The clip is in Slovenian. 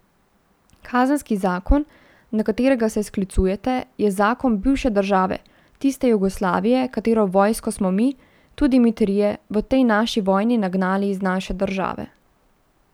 Kazenski zakon, na katerega se sklicujete, je zakon bivše države, tiste Jugoslavije, katere vojsko smo mi, tudi mi trije, v tej naši vojni nagnali iz naše države.